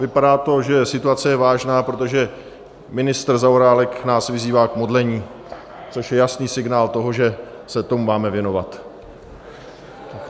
Vypadá to, že situace je vážná, protože ministr Zaorálek nás vyzývá k modlení, což je jasný signál toho, že se tomu máme věnovat.